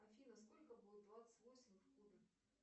афина сколько будет двадцать восемь в кубе